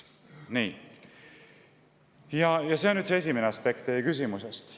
See oli nüüd see esimene aspekt teie küsimusest.